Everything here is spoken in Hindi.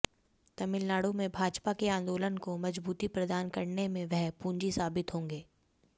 तमिलनाडु में भाजपा के आंदोलन को मजबूती प्रदान करने में वह पूंजी साबित होंगे